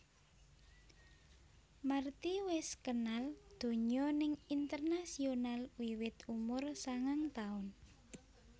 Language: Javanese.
Marty wis kenal donya ning internasional wiwit umur sangang taun